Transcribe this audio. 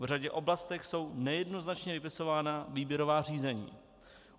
V řadě oblastí jsou nejednoznačně vypisována výběrová řízení.